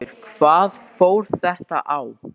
Þórhildur: Hvað fór þetta á?